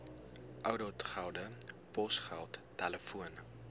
ouditgelde posgeld telefoon